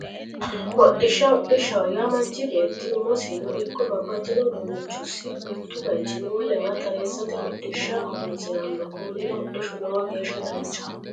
Hodhishsha hodhishshaho yaa manchi beetti umosino ikko babbaxxxino uduunnichosi mittu baychinni wolewa tareessate hodhishsha horonsiranno konnira hodhishshu lowo geeshsha danchaho